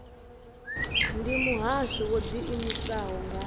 ndi muhasho wo ḓiimisaho nga